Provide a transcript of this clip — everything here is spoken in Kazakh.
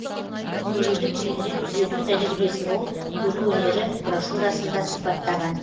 көруді кейінірек түзету тәжірибесін ол көру өнері брошюрасында сипаттаған